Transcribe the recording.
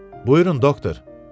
Buyurun, doktor.